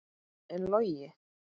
En Logi?